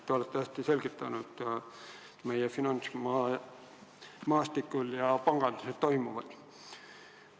Te olete hästi selgitanud meie finantsmaastikul, kogu panganduses toimuvat.